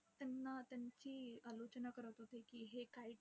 त्यांना त्यांची, करत होते की हे काही